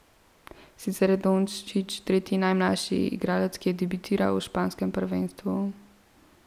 Sicer je Dončić tretji najmlajši igralec, ki je debitiral v španskem prvenstvu.